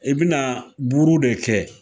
I bi na buru de kɛ.